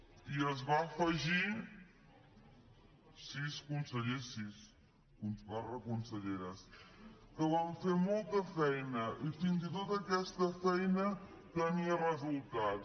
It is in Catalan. ) i es va afegir sis consellers sis barra conselleres que van fer molta feina i fins i tot aquesta feina tenia resultats